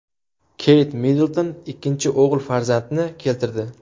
Keyt Middlton ikkinchi o‘g‘il farzandni keltirdi.